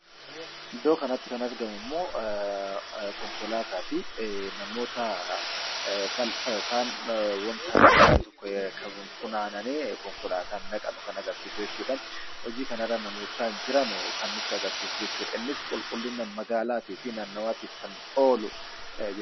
Iddoo kanatti kan argamu immoo, konkolaataa fi namoota balfa yookaan waanta balfi tokko qabuun funaananii , konkolaataan dhaqan kan agarsiisu jechuudha. Hojii kanaan namoota jiran kan nutti agarsiisan jechuudha. Innis qulqulliina magaalaatii fi nannawaatiif kan oolu.